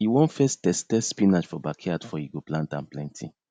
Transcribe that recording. he won first test test spinach for backyard for e go plant am plenty